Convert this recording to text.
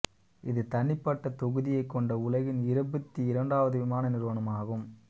இது தனிப்பட்ட தொகுதியைக் கொண்ட உலகின் இருபத்தி இரண்டாவது விமான நிறுவனமாகும்